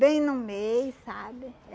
Bem no meio, sabe?